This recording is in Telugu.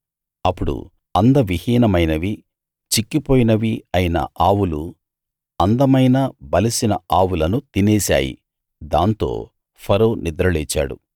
అప్పుడు అందవిహీనమైనవీ చిక్కిపోయినవీ అయిన ఆవులు అందమైన బలిసిన ఆవులను తినేశాయి దాంతో ఫరో నిద్రలేచాడు